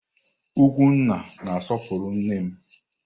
Ugwunna na-asọpụrụ nne m.